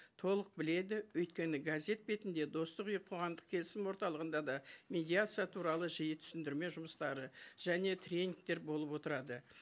толық біледі өйткені газет бетінде достық үйі қоғамдық келісім орталығында да медиация туралы жиі түсіндірме жұмыстары және тренингтер болып отырады